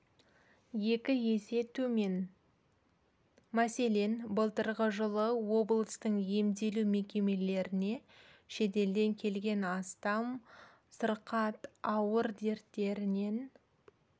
екі есе төмен мәселен былтырғы жылы облыстың емдеу мекемелеріне шетелден келген астам сырқат ауыр дерттерінен